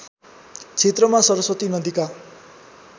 क्षेत्रमा सरस्वती नदीका